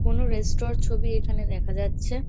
কোনো রেস্ট্র -র ছবি এখানে দেখা যাচ্ছে।